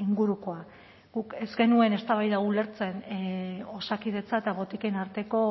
ingurukoa guk ez genuen eztabaida hau ulertzen osakidetza eta botiken arteko